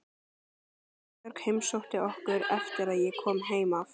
Sigurbjörg heimsótti okkur eftir að ég kom heim af